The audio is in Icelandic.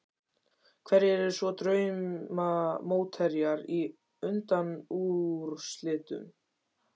Hverjir eru svo drauma mótherjar í undanúrslitum?